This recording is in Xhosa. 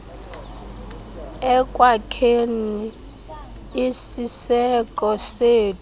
ekwakheni isiseko sethu